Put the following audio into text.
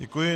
Děkuji.